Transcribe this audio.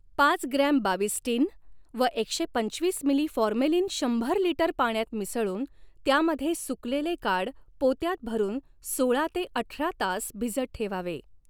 पाच gram Bavistin व एकशे पंचवीस मिली फॉर्मेलिन शंभर लिटर पाण्यात मिसळून त्यामध्ये सुकलेले काड पोत्यात भरून सोळा ते अठरा तास भिजत ठेवावे.